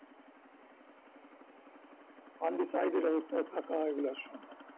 undecided অবস্থায় থাকার সম্ভব